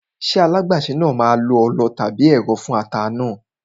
Ṣé alágbàsè náà máa lo ọlọ tàbí ẹ̀rọ fún ata náà?